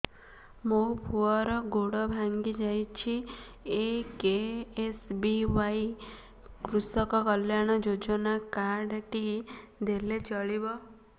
ମୋ ପୁଅର ଗୋଡ଼ ଭାଙ୍ଗି ଯାଇଛି ଏ କେ.ଏସ୍.ବି.ୱାଇ କୃଷକ କଲ୍ୟାଣ ଯୋଜନା କାର୍ଡ ଟି ଦେଲେ ଚଳିବ